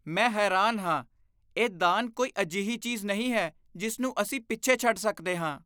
ਮੈਂ ਹੈਰਾਨ ਹਾਂ! ਇਹ ਦਾਨ ਕੋਈ ਅਜਿਹੀ ਚੀਜ਼ ਨਹੀਂ ਹੈ ਜਿਸ ਨੂੰ ਅਸੀਂ ਪਿੱਛੇ ਛੱਡ ਸਕਦੇ ਹਾਂ।